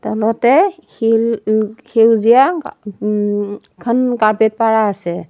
তলতে শিল ল সেউজীয়া গ উম এখন কাৰ্পেট পাৰা আছে।